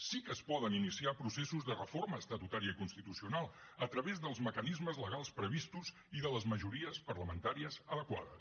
sí que es poden iniciar processos de reforma estatutària i constitucional a través dels mecanismes legals previstos i de les majories parlamentàries adequades